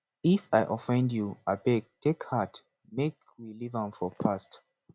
if i offend you abeg take heart make we leave am for past